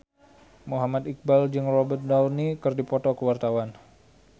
Muhammad Iqbal jeung Robert Downey keur dipoto ku wartawan